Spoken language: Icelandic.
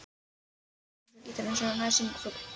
Kringum hljómana sveimar svo gítarinn eins og nærsýnn fugl.